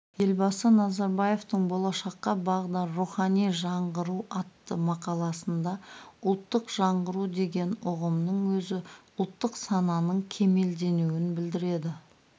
елбасы назарбаевтың болашаққа бағдар рухани жаңғыру атты мақаласында ұлттық жаңғыру деген ұғымның өзі ұлттық сананың кемелденуін білдіреді